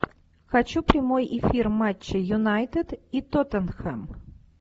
хочу прямой эфир матча юнайтед и тоттенхэм